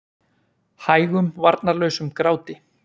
Hægum varnarlausum gráti.